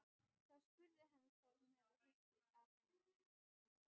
Þá spurði hann hvað hún hefði heyrt af henni.